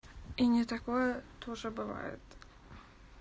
и не такое тоже бывает